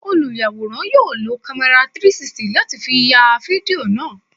Olùyàwòrán yóò lo kámẹ́rà 360 láti fi ya fídíò náà.